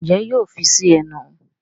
Njé yóò fí sí ẹnu?